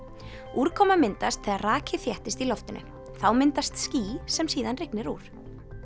úrkoma myndast þegar raki þéttist í loftinu þá myndast ský sem síðan rignir úr